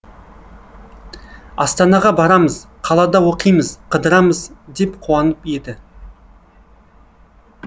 астанаға барамыз қалада оқимыз қыдырамыз деп қуанып еді